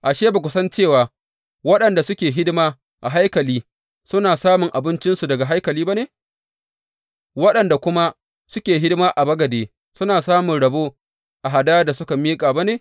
Ashe, ba ku san cewa waɗanda suke hidima a haikali suna samun abincinsu daga haikali ba ne, waɗanda kuma suke hidima a bagade suna samun rabo a hadayar da suka miƙa ba ne?